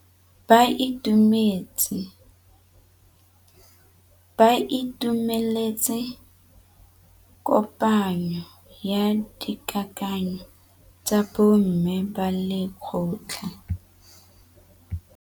Ba itumeletse kôpanyo ya dikakanyô tsa bo mme ba lekgotla.